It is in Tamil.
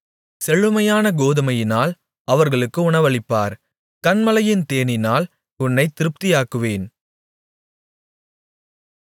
செழுமையான கோதுமையினால் அவர்களுக்கு உணவளிப்பார் கன்மலையின் தேனினால் உன்னைத் திருப்தியாக்குவேன்